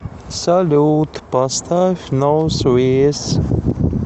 салют поставь нос виес